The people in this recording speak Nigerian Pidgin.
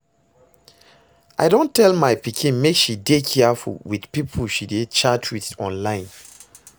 I don tell my pikin make she dey careful with the people she dey chat with online